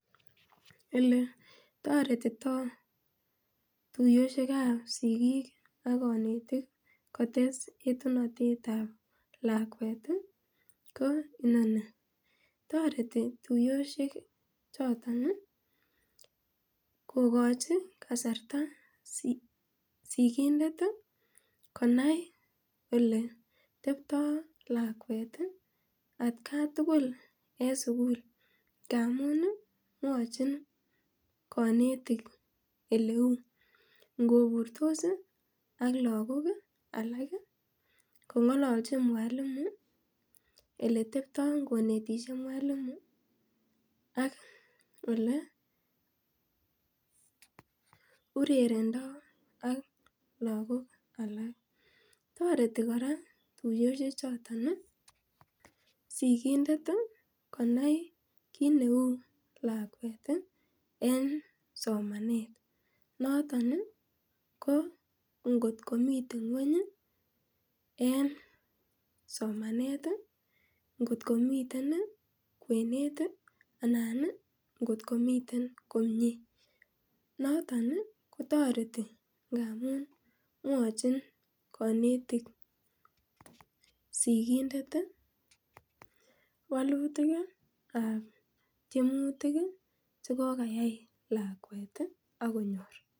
Eletoretitoo tuiyoshek ab sigik ak konetik kotes etunotetab lakwet ih ko inoni toreti tuiyoshek choton kokochi kasarta sigindet ih konai eketeptoo lakwet atkan tugul en sugul amun mwochin konetik eleuu ngoburtos ih ak lakok alak kong'olonchin mwalimu eketeptoo konetishe mwalimu ak ole urerendoo ak lakok alak toreti kora tuiyoshek chuton ih sigindet konai kit neu lakwet en somanet noton ko ngot komiten ng'weny en somanet ih ngotko miten kwenet ih anan ngotko miten komie noton kotoreti ngamun mwochin konetik sigindet ih walutik ab tyemutik chekokayai lakwet ih ak konyor